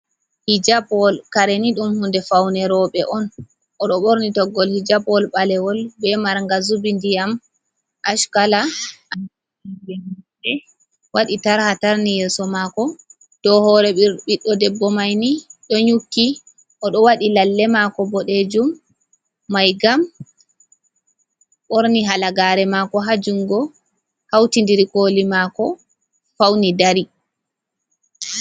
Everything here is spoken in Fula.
Hijapwol, kare ni ɗum hunde fawne rowɓe on, o ɗo ɓorni toggol hijapwol ɓalewol, be marnga zubi, ndiyam ackala, waɗi tarha tarni yeeso maako. Dow hoore ɓiɗɗo debbo may ni, ɗo nyukki, o ɗo waɗi lalle maako boɗeejum may gam, ɓorni halagaare maako, haa junngo, hawtindiri kooli maako, fawni dari.